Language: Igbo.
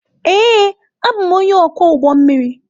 Ee, abụ m onye ọkwọ ụgbọ mmiri.